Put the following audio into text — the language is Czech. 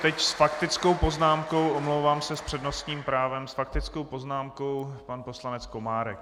Teď s faktickou poznámkou, omlouvám se s přednostním právem, s faktickou poznámkou pan poslanec Komárek.